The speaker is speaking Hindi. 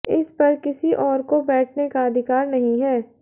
इस पर किसी और को बैठने का अधिकार नहीं है